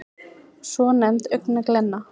svonefnd augnglenna